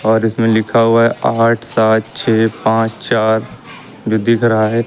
और इसमें लिखा हुआ है आठ सात छे पाँच चार जो दिख रहा है।